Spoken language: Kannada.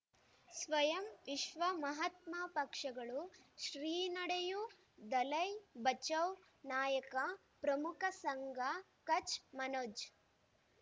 ಸ್ವಯಂ ವಿಶ್ವ ಮಹಾತ್ಮ ಪಕ್ಷಗಳು ಶ್ರೀ ನಡೆಯೂ ದಲೈ ಬಚೌ ನಾಯಕ ಪ್ರಮುಖ ಸಂಘ ಕಚ್ ಮನೋಜ್